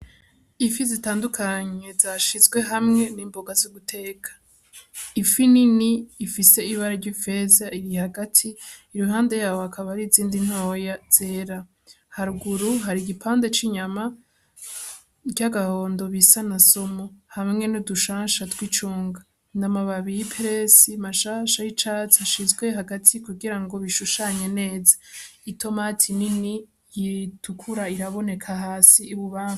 Ifi zitandukanye zashizwe hamwe n'imboga z'uguteka, ifi nini ifise ibara ry'ifeza iri hagati iruhande yaho hakaba hari izindi ntoya zera, haruguru hari igipande c'inyama ry'agahondo bisa na somo hamwe n'udushansha tw'icunga n'amababi y'ipesi mashasha y'icatsi ashizwe hagati kugira ngo bishushanye neza, itomati nini itukura iraboneka hasi y'ububami.